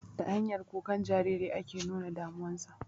Ta hanyar kukan Jariri ake nuna damuwa sa